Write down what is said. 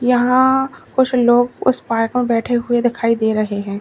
यहां कुछ लोग उस पार्क में बैठे हुए दिखाई दे रहे हैं।